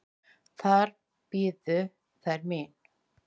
Þar biðu þær mín.